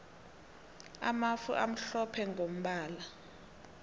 amafu amhlophe mgombala